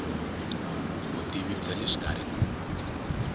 vutivi bya le xikarhi ku